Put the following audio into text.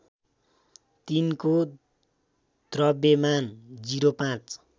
तिनको द्रव्यमान ०५